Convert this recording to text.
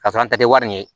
Ka sɔrɔ an tɛ wari in ye